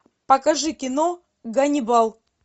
покажи кино ганнибал